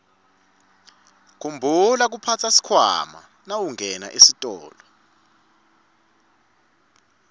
khumbula kuphatsa sikhwama nawungena esitolo